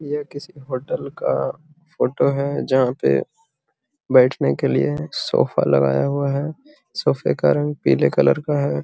ये किसी होटल का फोटो है जहाँ पे बैठने के लिए सोफा लगाया हुआ है सोफे का रंग पीले कलर का है।